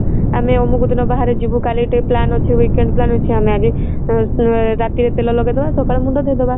ଆମେ ଅମକ ଦିନ ବାହାରେ ଯିବୁ କାଲି ଠୁ plan ଅଛି weekend plan ଅଛି ଆମେ ଆଗେ ରାତିରେ ତେଲ ଲଗେଇଦେବା ସକାଳେ ମୁଣ୍ଡ ଧୋଇଦେବା